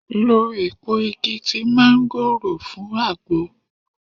Lo èpo igi ti manugoro fún agbo.